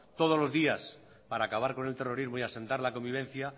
todos los días para acabar con el terrorismo y asentar la convivencia